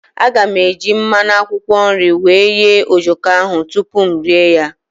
Aga m eji mmanụ akwụkwọ nri wee ghee ojoko ahụ tupu m rie ya.